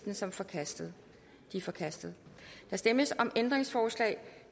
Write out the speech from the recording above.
el som forkastet de er forkastet der stemmes om ændringsforslag